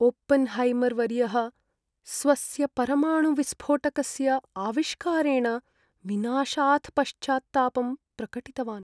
ओपेन्हैमर्वर्यः स्वस्य परमाणुविस्फोटकस्य आविष्कारेण विनाशात् पश्चात्तापं प्रकटितवान्।